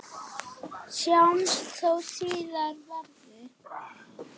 Sjáumst þó síðar verði.